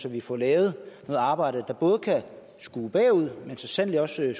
at vi får lavet et arbejde der både kan skue bagud men så sandelig også